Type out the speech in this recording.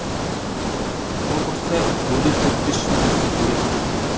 тымқұрса енді төрт бес жыл жүрсе керек ті